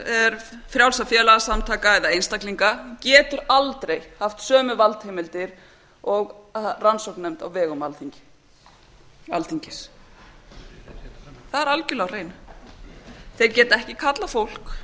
fyrirtækja frjálsra félagasamtaka eða einstaklinga getur aldrei haft sömu valdheimildir og rannsóknarnefnd á vegum alþingis það er algerlega á hreinu þeir geta ekki kallað fólk